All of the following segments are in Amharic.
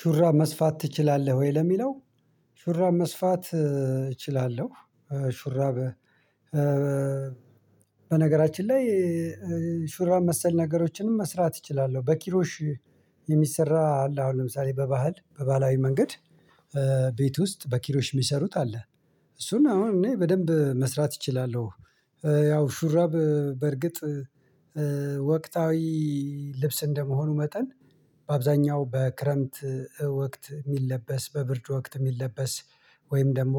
ሹራብ መስፋት ትችላለህ ወይ ለሚለው? ሹራብ መስፋት እችላለሁ። ሹራብ በነገራችን ላይ ሹራብ መሰል ነገሮችንም መስራት እችላለሁ በኪሮሽ። የሚሰራ አለ አሁን ለምሳሌ በባህል በባህላዊ መንገድ። ቤት ውስጥ በኪሮሽ የሚሰሩት አለ እሱን አሁን እኔ በደንብ መስራት እችላለሁ። ያው ሹራብ በርግጥ ወቅታዊ ልብስ እንደመሆኑ መጠን በአብዛኛው በክረምት ወቅት የሚለበስ በብርድ ወቅት የሚለበስ ወይም ደግሞ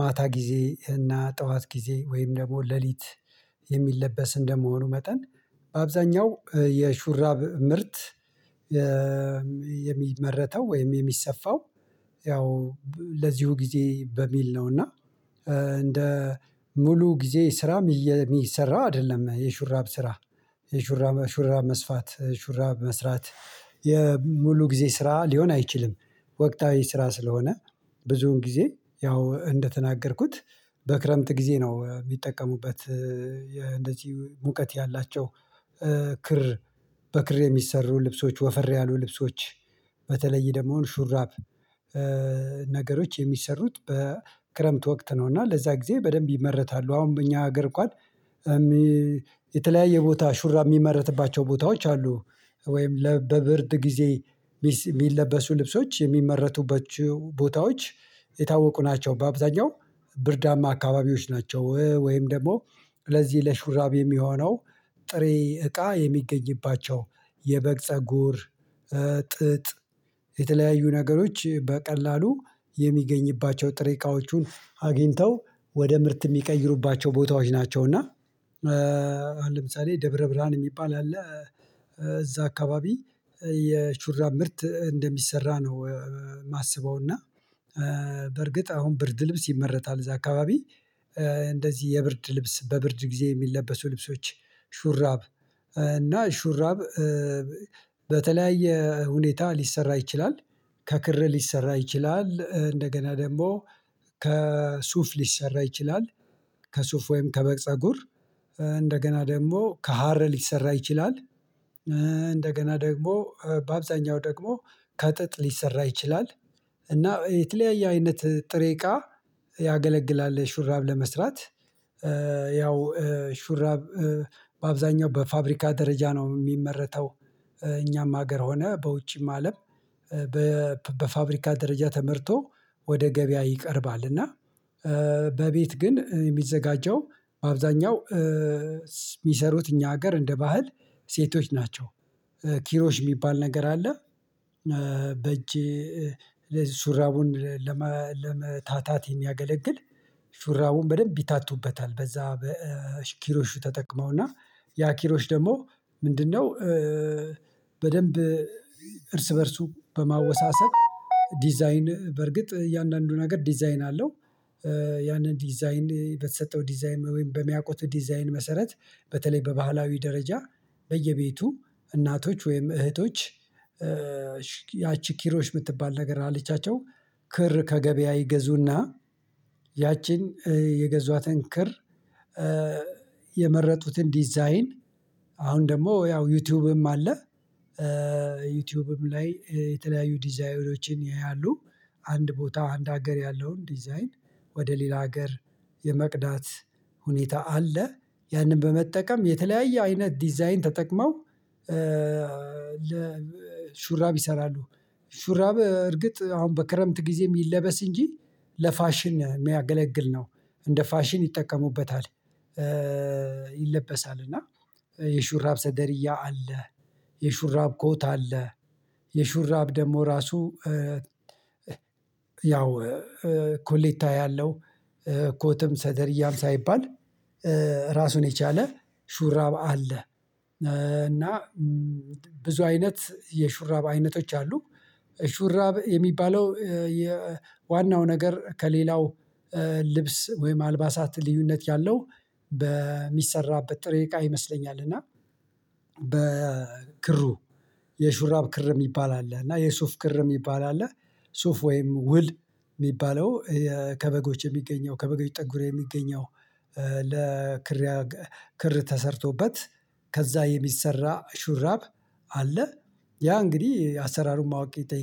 ማታ ጊዜ እና ጠዋት ጊዜ ወይም ደግሞ ሌሊት የሚለበስ እንደመሆኑ መጠን በአብዛኛው የሹራብ ምርት። የሚመረተው ወይም የሚሰፋው ያው ለዚሁ ጊዜ በሚል ነው። እና እንደ ሙሉ ጊዜ ስራም የሚሰራ አይደለም የሹራብ ስራ የሹራብ ሹራብ መስፋት ሹራብ መስራት የሙሉ ጊዜ ስራ ሊሆን አይችልም። ወቅታዊ ስራ ስለሆነ ብዙውን ጊዜ ያው እንደተናገርኩት በክረምት ጊዜ ነው የሚጠቀሙበት። እንደዚህ ሙቀት ያላቸው ክር በክር የሚሰሩ ልብሶች ወፈር ያሉ ልብሶች በተለይ ደግሞ ሹራብ ነገሮች የሚሰሩት በክረምት ወቅት ነው። እና ለዛ ጊዜ በደንብ ይመረታሉ አሁን በእኛ አገር እንኳን የተለያየ ቦታ ሹራ የሚመረትባቸው ቦታዎች አሉ። ወይም ለበብርድ ጊዜ የሚለበሱ ልብሶች የሚመረቱበት ቦታዎች የታወቁ ናቸው። በአብዛኛው ብርዳማ አካባቢዎች ናቸው ወይም ደግሞ ለዚህ ለሹራብ የሚሆነው ጥሬ እቃ የሚገኝባቸው የበግ ፀጉር ጥጥ የተለያዩ ነገሮች በቀላሉ የሚገኝባቸው ጥሬ እቃዎቹን አግኝተው ወደ ምርት የሚቀይሩባቸው ቦታዎች ናቸው። እና ለምሳሌ ደብረ ብርሃን የሚባል አለ። እዛ አካባቢ የሹራብ ምርት እንደሚሰራ ነው የማስበው። እና በርግጥ አሁን ብርድ ልብስ ይመረታል እዛ አካባቢ እንደዚህ የብርድ ልብስ በብርድ ጊዜ የሚለበሱ ልብሶች ሹራብ እና ሹራብ በተለያየ ሁኔታ ሊሰራ ይችላል። ከክር ሊሰራ ይችላል እንደገና ደግሞ ከሱፍ ሊሰራ ይችላል። ከሱፍ ወይም ከበግ ፀጉር እንደገና ደግሞ ከሀር ሊሰራ ይችላል። እንደገና ደግሞ በአብዛኛው ደግሞ ከጥጥ ሊሰራ ይችላል። እና የተለያየ አይነት ጥሬ እቃ ያገለግላል። ሹራብ ለመስራት ያው ሹራብ በአብዛኛው በፋብሪካ ደረጃ ነው የሚመረተው። እኛም ሀገር ሆነ በውጭም አለም በፋብሪካ ደረጃ ተመርቶ ወደ ገበያ ይቀርባል። እና በቤት ግን የሚዘጋጀው በአብዛኛው የሚሰሩት እኛ ሀገር እንደ ባህል ሴቶች ናቸው። ኪሮሽ የሚባል ነገር አለ። በእጅ ሹራቡን ለመታታት የሚያገለግል ሹራቡን በደንብ ይታቱበታል በዛ በኪሮሹ ተጠቅመውና ያ ኪሮሽ ደግሞ ምንድነው? በደንብ እርስ በእርሱ በማወሳሰብ ዲዛይን በርግጥ የእያንዳንዱ ነገር ዲዛይን አለው። ያንን ዲዛይን በተሰጠው ዲዛይን ወይም በሚያውቁት ዲዛይን መሰረት በተለይ በባህላዊ ደረጃ በየቤቱ እናቶች ወይም እህቶች ያቺ ኪሮሽ የምትባል ነገር አለቻቸው። ክር ከገበያ ይገዙና ያቺን የገዟትን ክር የመረጡትን ዲዛይን አሁን ደግሞ ያው ዩቲዩብም አለ። ዩቲዩብም ላይ የተለያዩ ዲዛይኖችን ያያሉ። አንድ ቦታ አንድ ሀገር ያለውን ዲዛይን ወደ ሌላ ሀገር የመቅዳት ሁኔታ አለ። ያንን በመጠቀም የተለያየ አይነት ዲዛይን ተጠቅመው ለሹራብ ይሰራሉ። ሹራብ እርግጥ አሁን በክረምት ጊዜ የሚለበስ እንጂ ለፋሽን የሚያገለግል ነው። እንደ ፋሽን ይጠቀሙበታል። ይለበሳል እና የሹራብ ሰደርያ አለ። የሹራብ ኮት አለ። የሹራብ ደግሞ ራሱ ያው ኮሌታ ያለው ኮትም ሰደርያም ሳይባል ራሱን የቻለ ሹራብ አለ። እና ብዙ አይነት የሹራብ አይነቶች አሉ። ሹራብ የሚባለው የዋናው ነገር ከሌላው ልብስ ወይም አልባሳት ልዩነት ያለው በሚሰራበት ጥሬ እቃ ይመስለኛል። እና በክሩ የሹራብ ክር የሚባል አለ እና የሱፍ ክር የሚባል አለ። ሱፍ ወይም ውል የሚባለው ከበጎች የሚገኘው ከበጎች ጠጉር የሚገኘው ለክር ክር ተሰርቶበት ከዛ የሚሰራ ሹራብ አለ። ያ እንግዲህ አሰራሩን ማወቅ